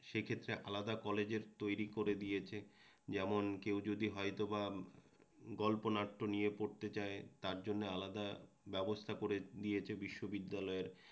সেক্ষেত্রে আলাদা কলেজের তৈরি করে দিয়েছে যেমন কেউ যদি হয়তোবা গল্পনাট্য নিয়ে পড়তে চায় তার জন্য আলাদা ব্যবস্থা করে দিয়েছে বিশ্ববিদ্যালয়ের